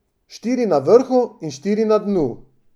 Štiri na vrhu in štiri na dnu.